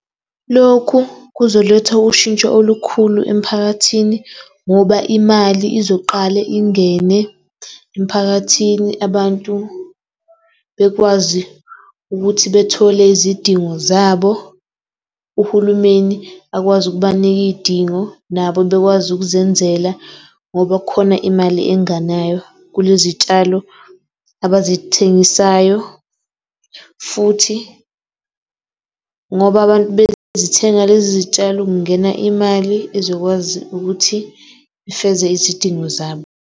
Lokhu kuzoletha ushintsho olukhulu emphakathini ngoba imali izoqale ingene emphakathini. Abantu bekwazi ukuthi bethole izidingo zabo. Uhulumeni akwazi ukubanika iy'dingo nabo bekwazi ukuzenzela ngoba kukhona imali engenayo kulezitshalo abazithengisayo. Futhi ngoba abantu bezithenga lezi zitshalo kungena imali ezokwazi ukuthi ifeze izidingo zabo.